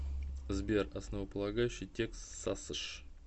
сбер основополагающий текст сасш